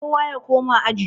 kowa ya koma aji?